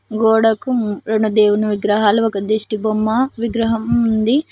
గోడకు రెండు దేవుని విగ్రహాలు ఒక దిష్టిబొమ్మ విగ్రహం ఉంది.